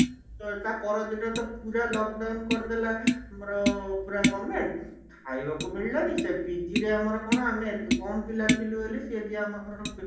ତାପର ଦିନ ତ ପୁରା lockdown କରିଦେଲା ଆମର ପୁରା government ଖାଇବାକୁ ମିଳିଲାନି ସେ PG ରେ ଆମର କଣ ଆମେ ଏତେ କମ ପିଲା ଥିଲୁ ସେ ଯିଏ ଆମର